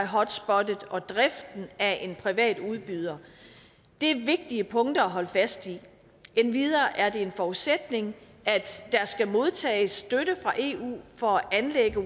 hotspottet og driften af en privat udbyder det er vigtige punkter at holde fast i endvidere er det en forudsætning at der skal modtages støtte fra eu for at anlægge